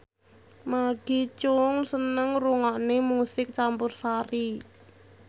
Maggie Cheung seneng ngrungokne musik campursari